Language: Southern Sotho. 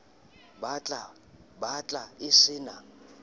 bat la e se na